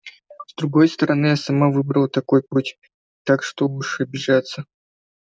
с другой стороны я сама выбрала такой путь так что уж обижаться